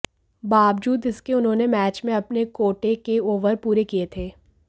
बावजूद इसके उन्होंने मैच में अपने कोटे के ओवर पूरे किए थे